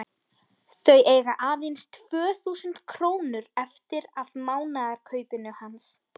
Þau eiga aðeins tvö þúsund krónur eftir af mánaðarkaupinu hans.